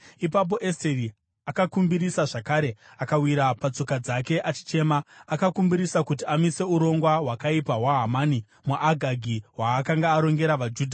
Ipapo Esteri akakumbirisa zvakare akawira patsoka dzake achichema. Akakumbirisa kuti amise urongwa hwakaipa hwaHamani muAgagi, hwaakanga arongera vaJudha.